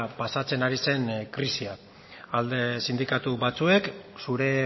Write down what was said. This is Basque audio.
pasatzen ari zen krisia alde sindikatu batzuek zure